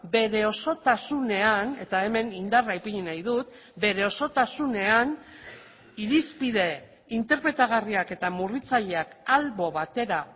bere osotasunean eta hemen indarra ipini nahi dut bere osotasunean irizpide interpretagarriak eta murritzaileak albo batera